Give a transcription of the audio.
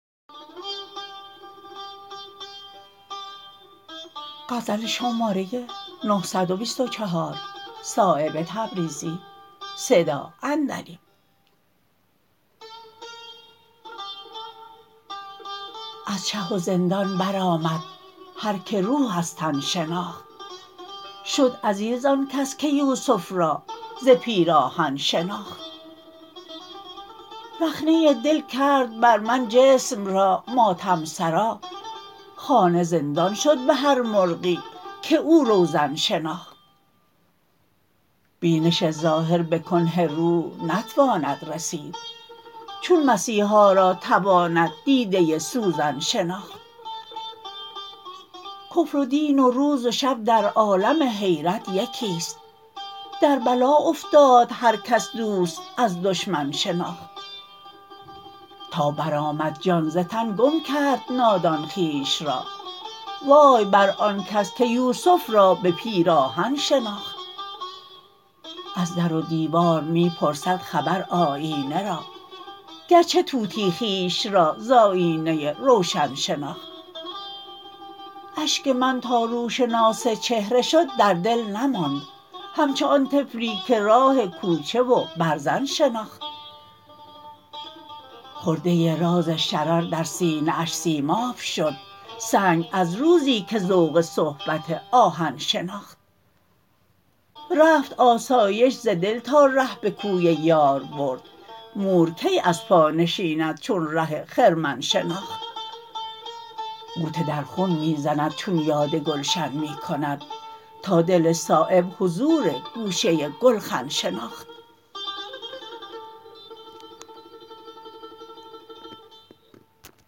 از چه و زندان برآمد هر که روح از تن شناخت شد عزیز آن کس که یوسف را ز پیراهن شناخت رخنه دل کرد بر من جسم را ماتم سرا خانه زندان شد به هر مرغی که او روزن شناخت بینش ظاهر به کنه روح نتواند رسید چون مسیحا را تواند دیده سوزن شناخت کفر و دین و روز و شب در عالم حیرت یکی است در بلا افتاد هر کس دوست از دشمن شناخت تا بر آمد جان ز تن گم کرد نادان خویش را وای بر آن کس که یوسف را به پیراهن شناخت از در و دیوار می پرسد خبر آیینه را گرچه طوطی خویش را ز آیینه روشن شناخت اشک من تا روشناس چهره شد در دل نماند همچو آن طفلی که راه کوچه و برزن شناخت خرده راز شرر در سینه اش سیماب شد سنگ از روزی که ذوق صحبت آهن شناخت رفت آسایش ز دل تا ره به کوی یار برد مور کی از پا نشیند چون ره خرمن شناخت غوطه در خون می زند چون یاد گلشن می کند تا دل صایب حضور گوشه گلخن شناخت